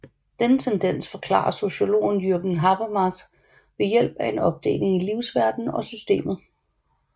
Denne tendens forklarer sociologen Jürgen Habermas ved hjælp af en opdeling i livsverdenen og systemet